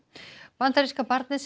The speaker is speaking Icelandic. bandaríska barnið sem